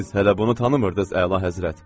Siz hələ bunu tanımırdınız, əlahəzrət!